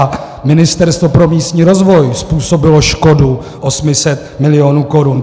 A Ministerstvo pro místní rozvoj způsobilo škodu 800 milionů korun.